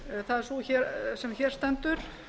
það er sú er hér stendur